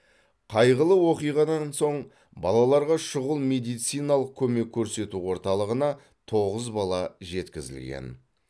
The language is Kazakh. қайғылы оқиғадан соң балаларға шұғыл медициналық көмек көрсету орталығына тоғыз бала жеткізілген